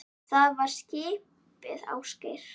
Það var skipið Ásgeir